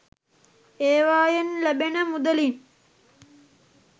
ඒවයෙන් ලැබෙන මුදලින්